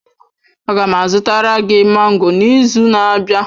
Aga m azụtara gị mango n'izu na-abịa.